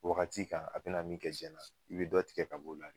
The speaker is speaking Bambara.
Wagati ka, a bɛ na min kɛ zɛna i be dɔ tigɛ ka b'o la